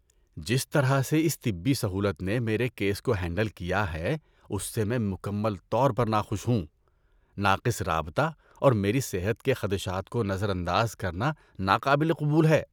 جس طرح سے اس طبی سہولت نے میرے کیس کو ہینڈل کیا ہے اس سے میں مکمل طور پر ناخوش ہوں۔ ناقص رابطہ اور میری صحت کے خدشات کو نظر انداز کرنا ناقابل قبول ہے۔